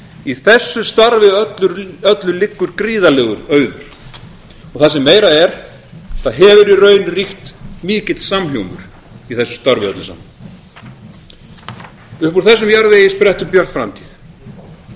í þessu starfi öllu liggur gríðarlegur auður og það sem meira er það hefur í raun ríkt mikill samhljómur í þessu starfi öllu saman upp úr þessum farvegi sprettur björt framtíð hún